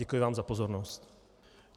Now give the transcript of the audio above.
Děkuji vám za pozornost.